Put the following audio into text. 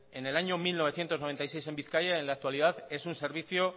en el año mil novecientos noventa y seis en bizkaia y en la actualidad es un servicio